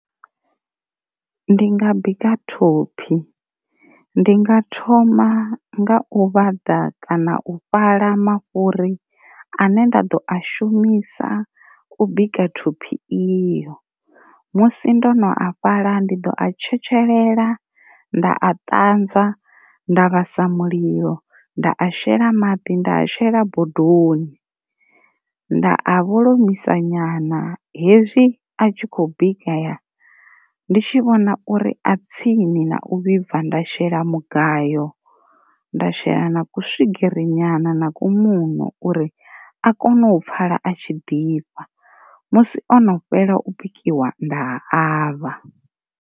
Ndi nga bika thophi, ndi nga thoma nga u vhaḓa kana u fhaḽa mafhuri ane nda ḓo a shumisa u bika thophi iyo, musi ndo no a fhaḽa ndi ḓo a tshetshelela nda a ṱanzwa nda vhasa mulilo nda a shela maḓi nda a shela bodoni, nda a vholomiisa nyana hezwi a tshi khou bikeya ndi tshi vhona uri a tsini na u vhibva nda shela mugayo, nda shela na ku swigiri nyana na ku muṋo uri a kone u pfala a tshi ḓifha, musi ono fhela u bikiwa nda avha.